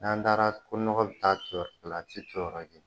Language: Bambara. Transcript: N'an taara ko nɔgɔ bi taa ton yɔrɔ kelen abi ton yɔrɔ kelen